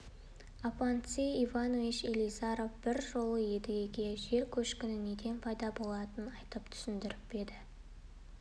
афанасий иванович елизаров бір жолы едігеге жер көшкіні неден пайда болатынын айтып түсіндіріпеді